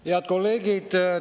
Head kolleegid!